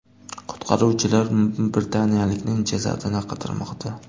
Qutqaruvchilar britaniyalikning jasadini qidirmoqda.